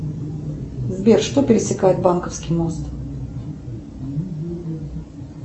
сбер что пересекает банковский мост